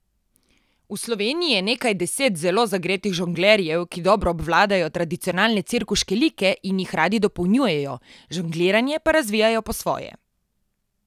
V Sloveniji je nekaj deset zelo zagretih žonglerjev, ki dobro obvladajo tradicionalne cirkuške like in jih radi dopolnjujejo, žongliranje pa razvijajo po svoje.